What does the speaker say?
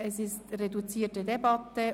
Wir führen eine reduzierte Debatte.